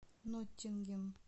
ноттингем